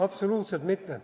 Absoluutselt mitte.